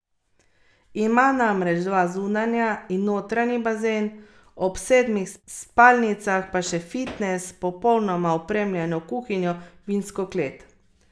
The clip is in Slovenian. Ima namreč dva zunanja in notranji bazen, ob sedmih spalnicah pa še fitnes, popolnoma opremljeno kuhinjo, vinsko klet ...